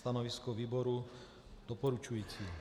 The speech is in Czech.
Stanovisko výboru doporučující.